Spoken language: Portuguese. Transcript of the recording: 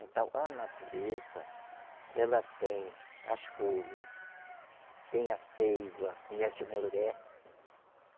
Então, a natureza, ela tem as folhas, tem a ceiva, conhece o mururé?